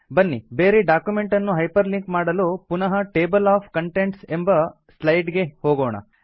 ಬನ್ನಿ ಬೇರೆ ಡಾಕ್ಯುಮೆಂಟ್ ಅನ್ನು ಹೈಪರ್ ಲಿಂಕ್ ಮಾಡಲು ಪುನಃ ಟೇಬಲ್ ಒಎಫ್ ಕಂಟೆಂಟ್ಸ್ ಎಂಬ ಸ್ಲೈಡ್ ಗೆ ಹೋಗೋಣ